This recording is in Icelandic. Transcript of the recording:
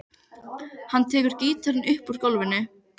Eitt sinn fann ég blýklump og byrjaði að kasta honum.